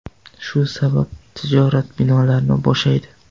Shu sabab tijorat binolari bo‘shaydi.